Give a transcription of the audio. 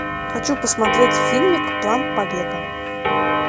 хочу посмотреть фильмик план побега